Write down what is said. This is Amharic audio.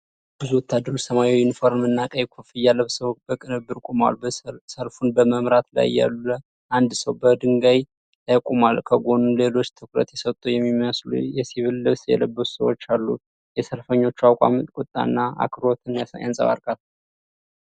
ብዙ ወታደሮች ሰማያዊ ዩኒፎርም እና ቀይ ኮፍያ ለብሰው በቅንብር ቆመዋል። ሰልፉን በመምራት ላይ ያለ አንድ ሰው በድንጋይ ላይ ቆሟል። ከጎኑ ሌሎች ትኩረት የሰጡ የሚመስሉ የሲቪል ልብስ የለበሱ ሰዎች አሉ። የሰልፈኞቹ አቋም ቁጣን እና አክብሮትን ያንጸባርቃል።